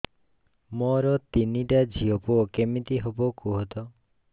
ମୋର ତିନିଟା ଝିଅ ପୁଅ କେମିତି ହବ କୁହତ